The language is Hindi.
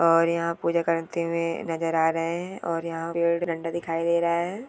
और यहाँ पूजा करते हुए नजर आ रहे है और यहाँ पे डंडा दिखाई दे रहा है।